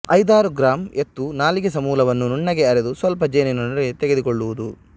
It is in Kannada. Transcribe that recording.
ಐದಾರು ಗ್ರಾಂ ಎತ್ತು ನಾಲಿಗೆ ಸಮೂಲವನ್ನು ನುಣ್ಣಗೆ ಅರೆದು ಸ್ವಲ್ಪ ಜೇನಿನೊಡನೆ ತೆಗೆದುಕೊಳ್ಳುವುದು